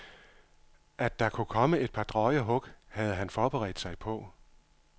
At der kunne komme et par drøje hug, havde han forberedt sig på.